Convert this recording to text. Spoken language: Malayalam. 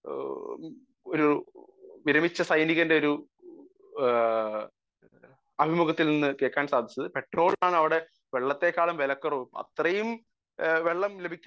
സ്പീക്കർ 1 ഒരു വിരമിച്ച സൈനികന്റെ ഒരു അഭിമുഖത്തിൽ നിന്ന് കേൾക്കാൻ സാധിച്ചത് . പെട്രോളിനാണ് അവിടെ വെള്ളത്തേക്കാൾ വിലക്കുറവ് അത്രയും വെള്ളം ലഭിക്കാൻ അത്രയും ഒരു